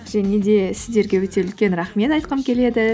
және де сіздерге өте үлкен рахмет айтқым келеді